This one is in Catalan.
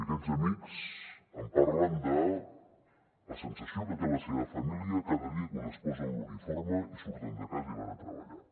i aquests amics em parlen de la sensació que té la seva família cada dia quan es posen l’uniforme i surten de casa i van a treballar